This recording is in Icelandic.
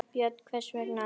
Björn: Hvers vegna ekki?